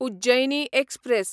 Ujjayini express